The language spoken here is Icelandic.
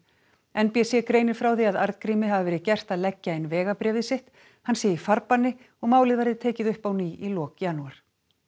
n b c greinir frá því að Arngrími hafi verið gert að leggja inn vegabréfið sitt hann sé í farbanni og málið verði tekið upp á ný í lok janúar